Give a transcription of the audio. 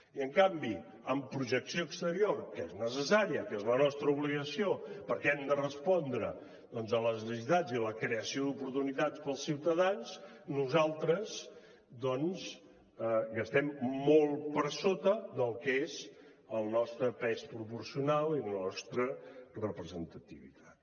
i en canvi en projecció exterior que és necessària que és la nostra obligació perquè hem de respondre a les necessitats i a la creació d’oportunitats per als ciutadans nosaltres gastem molt per sota del que és el nostre pes proporcional i la nostra representativitat